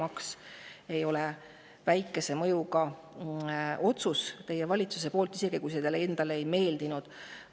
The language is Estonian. Automaks ei ole väikese mõjuga otsus teie valitsuselt, isegi kui see teile endale ei ole meeldinud.